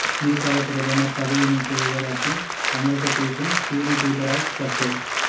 நேபாள பிரதமர் பதவி நீக்க விவகாரத்தில் சமரசம் பேசும் சீன தூதரால் சர்ச்சை